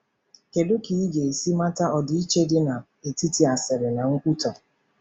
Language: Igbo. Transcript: Kedu ka ị ga-esi mata ọdịiche dị n'etiti asịrị na nkwutọ?